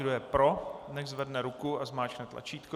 Kdo je pro, nechť zvedne ruku a zmáčkne tlačítko.